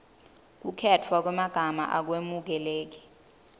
kukhetfwa kwemagama akwemukeleki